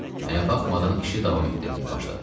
Mənə baxmadan işi davam etdirməyə başladı.